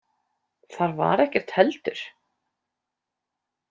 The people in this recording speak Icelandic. Þar var ekkert heldur?